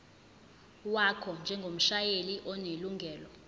wakho njengomshayeli onelungelo